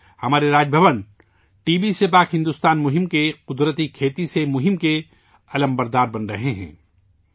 آج ہمارے راج بھون، ٹی بی سے پاک بھارت کی مہم کے، قدرتی کھیتی سے متعلق مہم کے، پرچم بردار بن رہے ہیں